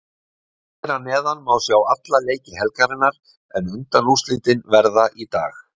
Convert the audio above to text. Hér að neðan má sjá alla leiki helgarinnar en undanúrslitin verða í dag.